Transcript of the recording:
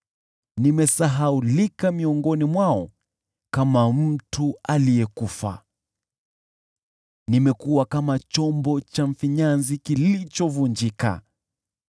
Nimesahaulika miongoni mwao kama mtu aliyekufa, nimekuwa kama chombo cha mfinyanzi kilichovunjika.